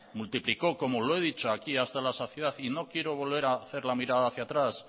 multiplicó como lo he dicho aquí hasta la saciedad y no quiero volver a hacer lavirada hacia atrás